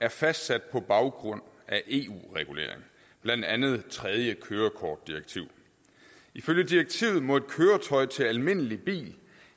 er fastsat på baggrund af eu regulering blandt andet tredje kørekortdirektiv ifølge direktivet må et køretøj til almindelig bil